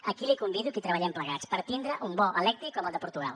aquí la convido que hi treballem plegats per tindre un bo elèctric com el de portugal